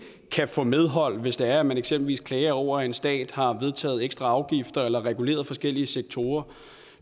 kan få medhold hvis det er at man eksempelvis klager over at en stat har vedtaget ekstra afgifter eller reguleret forskellige sektorer